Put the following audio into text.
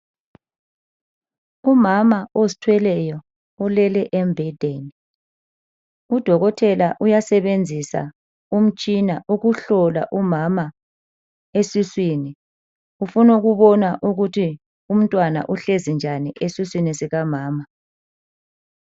Umama ozithweleyo ulele embhedeni, udokotela uyasebenzisa umtshina ukuhlola umama esiswini. Ufuna ukubona ukuthi umntwana uhlezi njani esiswini sika mama.